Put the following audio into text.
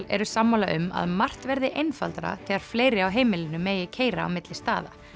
eru sammála um að margt verði einfaldara þegar fleiri á heimilinu mega keyra á milli staða